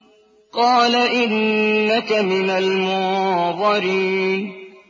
قَالَ إِنَّكَ مِنَ الْمُنظَرِينَ